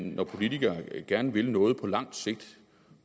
når politikere gerne vil noget på lang sigt